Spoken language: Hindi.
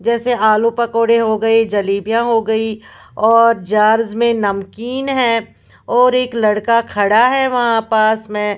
जैसे आलू पकौड़े हो गए जलीबियाँ हो गईं और जार्ज में नमकीन है और एक लड़का खड़ा है वहाँ पास में --